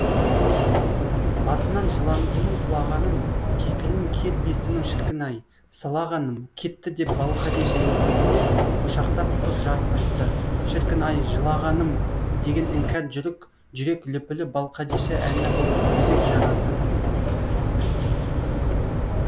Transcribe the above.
басынан жыландының құлағаным кекілін кер бестінің шіркін ай сылағаным кетті деп балқадиша естігенде құшақтап құз жартасты шіркін ай жылағаным деген іңкәр жүрек лүпілі балқадиша әні боп өзек жарады